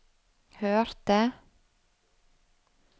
hørte